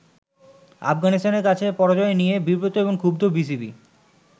আফগানিস্তানের কাছে পরাজয় নিয়ে ব্রিবত এবং ক্ষুব্ধ বিসিবি।